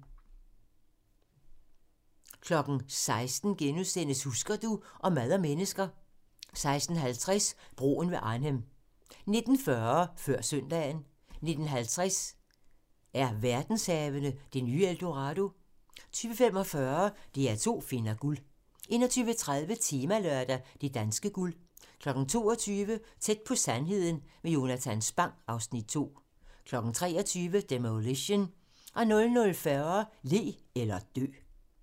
16:00: Husker du ... Om mad og mennesker * 16:50: Broen ved Arnhem 19:40: Før søndagen 19:50: Er verdenshavene det nye El Dorado? 20:45: DR2 finder guld 21:30: Temalørdag: Det danske guld 22:00: Tæt på sandheden med Jonatan Spang (Afs. 2) 23:00: Demolition 00:40: Le eller dø